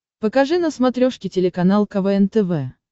покажи на смотрешке телеканал квн тв